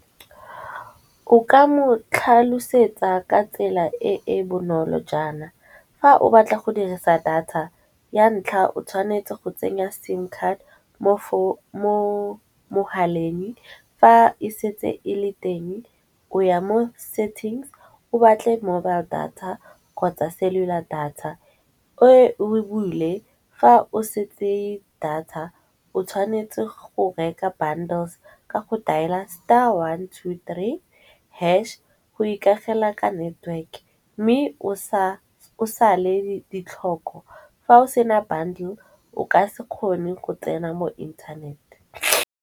O Ka mo tlhalosetsa ka tsela e e bonolo jaana, fa o batla go dirisa data ya ntlha o tshwanetse go tsenya sim card mo mogaleng. Fa e setse e le teng o ya mo settings, o batle mobile data kgotsa cellular data. O e bule fa o setse data o tshwanetse go reka bundles ka go dial-a star one two three hash go ikaegela ka network. Mme o sa le ditlhoko fa o sena bundle o ka se kgone go tsena mo inthanete.